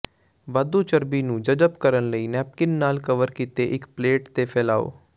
ਵਾਧੂ ਚਰਬੀ ਨੂੰ ਜਜ਼ਬ ਕਰਨ ਲਈ ਨੈਪਿਨ ਨਾਲ ਕਵਰ ਕੀਤੇ ਇੱਕ ਪਲੇਟ ਤੇ ਫੈਲਾਓ